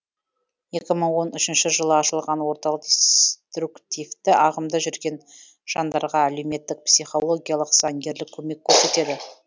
екі мың он үшінші жылы ашылған орталық деструктивті ағымда жүрген жандарға әлеуметтік психологиялық заңгерлік көмек көрсетеді